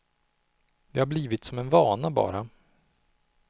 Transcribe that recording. Det har blivit som en vana bara.